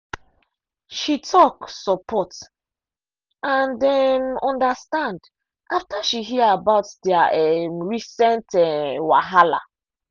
she talk support and um understand after she hear about their um recent um wahala.